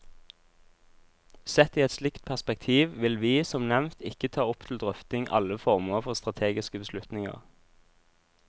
Sett i et slikt perspektiv vil vi, som nevnt, ikke ta opp til drøfting alle former for strategiske beslutninger.